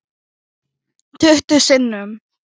Tuttugu sinnum.